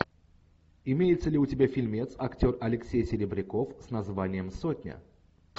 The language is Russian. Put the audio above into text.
имеется ли у тебя фильмец актер алексей серебряков с названием сотня